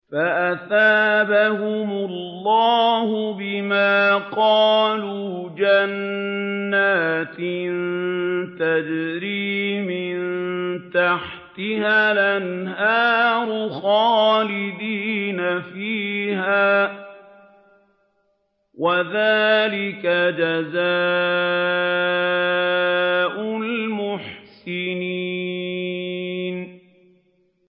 فَأَثَابَهُمُ اللَّهُ بِمَا قَالُوا جَنَّاتٍ تَجْرِي مِن تَحْتِهَا الْأَنْهَارُ خَالِدِينَ فِيهَا ۚ وَذَٰلِكَ جَزَاءُ الْمُحْسِنِينَ